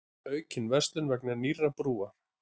Aukin verslun vegna nýrrar brúar